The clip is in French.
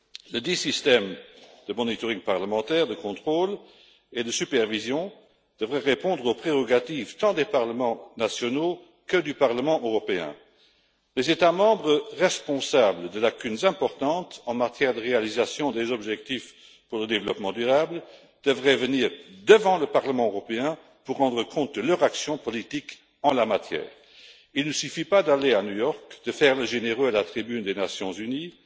Ledit système de contrôle et de supervision parlementaire devrait répondre aux prérogatives tant des parlements nationaux que du Parlement européen. Les États membres responsables de lacunes importantes en matière de réalisation des objectifs pour le développement durable devraient venir devant le Parlement européen pour rendre compte de leur action politique en la matière. Il ne suffit pas d'aller à New York, de faire le généreux à la tribune des Nations unies,